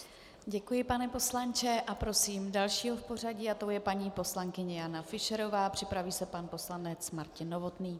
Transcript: Děkuji, pane poslanče, a prosím další v pořadí a tou je paní poslankyně Jana Fischerová, připraví se pan poslanec Martin Novotný.